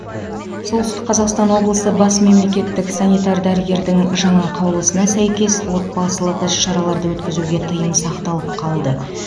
солтүстік қазақстан облысы бас мемлекеттік санитар дәрігердің жаңа қаулысына сәйкес отбасылық іс шараларды өткізуге тыйым сақталып қалды